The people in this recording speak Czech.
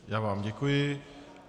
Já vám děkuji.